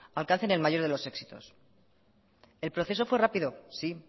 alcancen el mayor de los éxitos el proceso fue rápido sí